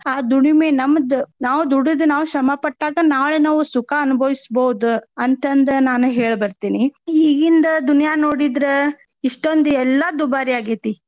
ಆ ದುಡಿಮೆ ನಮ್ದ ನಾವ್ ದುಡದ್ ನಾವ್ ಶ್ರಮ ಪಟ್ಟಾಗ ನಾಳೆ ನಾವು ಸುಖ ಅನ್ಬವಿಸ್ಬಹುದ ಅಂತಂದ ನಾನ್ ಹೇಳ ಬರ್ತೀನಿ. ಈಗಿಂದ दुनिया ನೋಡಿದ್ರ ಇಷ್ಟೊಂದು ಎಲ್ಲ ದುಬಾರಿ ಆಗೇತಿ.